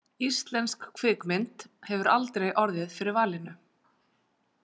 Íslensk kvikmynd hefur aldrei orðið fyrir valinu.